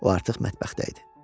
O artıq mətbəxdə idi.